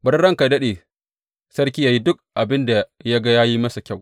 Bari ranka yă daɗe, sarki yă yi duk abin da ya ga ya yi masa kyau.